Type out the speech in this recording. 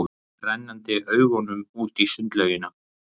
Renndi augunum út í sundlaugina.